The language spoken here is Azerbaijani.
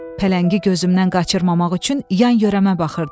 Pələngi gözümdən qaçırmamaq üçün yan-yörəmə baxırdım.